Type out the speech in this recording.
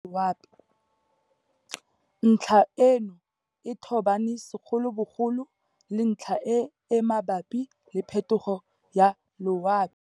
Ntlha eno e tobane segolobogolo le ntlha e e mabapi le phetogo ya loapi.